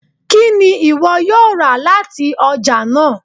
Kini iwọ yoo ra lati ọja naa?